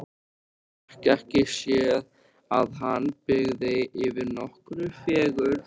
Hún fékk ekki séð að hann byggi yfir nokkurri fegurð.